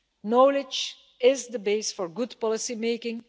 Knowledge is the base for good policymaking.